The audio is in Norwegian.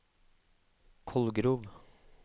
Kolgrov